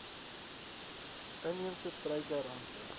inheemse struike rante